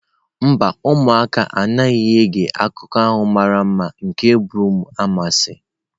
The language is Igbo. Mba, ụmụaka anaghị ege akụkọ a mara mma nke broom anwansi.